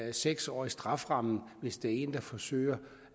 en seks årig strafferamme hvis der er en der forsøger